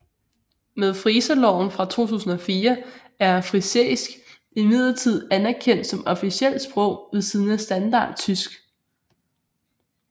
Med friserloven fra 2004 er frisisk imidlertid anerkendt som officielt sprog ved siden af standardtysk